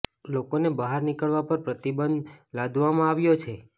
લોકોને બહાર નિકળવા પર પ્રતિબંધ લાદવામાં આવ્યો છે